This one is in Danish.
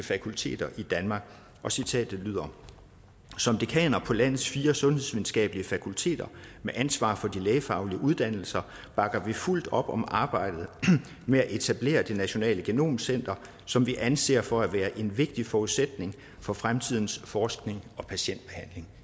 fakulteter i danmark og citatet lyder som dekaner på landets fire sundhedsvidenskabelige fakulteter med ansvar for de lægefaglige uddannelser bakker vi fuldt op om arbejdet med at etablere det nationale genom center som vi anser for at være en vigtig forudsætning for fremtidens forskning og patientbehandling